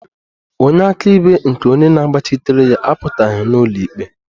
Onye akaebe nke onye na-agbachitere ya apụtaghị n'ụlọikpe